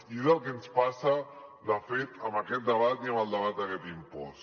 i és el que ens passa de fet amb aquest debat i amb el debat d’aquest impost